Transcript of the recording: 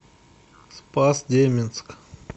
спас деменск